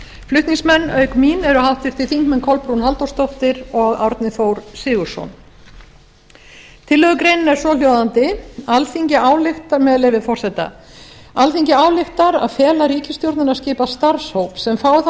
flutningsmenn auk mín eru háttvirtir þingmenn kolbrún halldórsdóttir og árni þór sigurðsson tillögugreinin er svohljóðandi með leyfi forseta alþingi ályktar að fela ríkisstjórninni að skipa starfshóp sem fái það